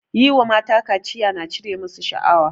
Yi wa mata kaciya na cire masu shaawa